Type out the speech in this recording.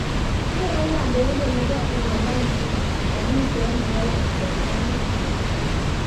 kerei kondoindet nebo uholanzi kaniset nebo wasalamiek